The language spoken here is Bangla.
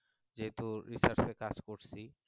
যেহেতু research এর কাজ করছি